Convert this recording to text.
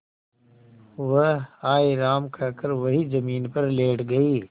वह हाय राम कहकर वहीं जमीन पर लेट गई